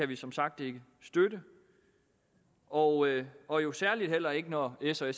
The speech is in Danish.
vi som sagt ikke støtte og og jo særligt heller ikke når s og